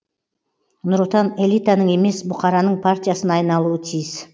нұр отан элитаның емес бұқараның партиясына айналуы тиіс